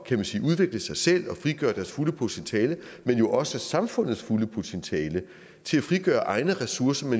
kan man sige udvikle sig selv og frigøre deres fulde potentiale men jo også samfundets fulde potentiale frigøre egne ressourcer